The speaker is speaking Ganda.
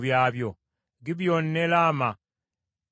Gibyoni ne Laama ne Beerosi,